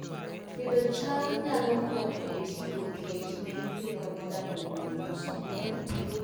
Pidho cham nyalo konyo e tieko kech ne nyithindo modak e gwenge mosokore